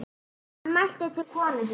Hann mælti til konu sinnar